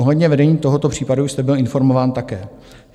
Ohledně vedení tohoto případu jste byl informován také.